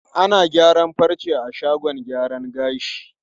Ana gyaran farce a shagon gyaran gashi.